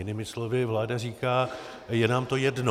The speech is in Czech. Jinými slovy, vláda říká: je nám to jedno.